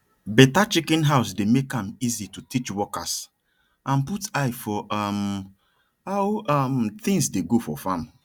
better chicken house dey make am easy to teach workers and put eye for um how um things dey go for farm